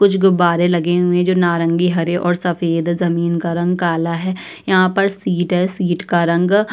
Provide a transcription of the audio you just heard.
कुछ गुब्बारे लगे हुए जो नारंगी हरे और सफेद जमीन का रंग काला है। यहाँ पर शीट है। सीट का रंग --